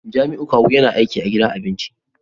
Jamiu kawu yana aiki a gidan abinci